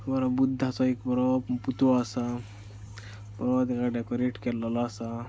बरो बुध्दाचो एक बरो पुतळो आसा अ तेका डेकोरेट केल्लोलो आसा.